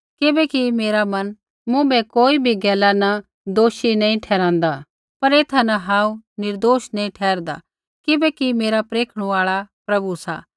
किबैकि मेरा मन मुँभै कोई भी गैला न दोषी नैंई ठहरांदा पर ऐथा न हांऊँ निर्दोष नैंई ठहरदा किबैकि मेरा परेखणु आल़ा प्रभु सा